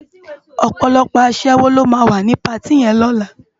Òpòlòpò aṣèwó ló má wá ni páti yèn lòlá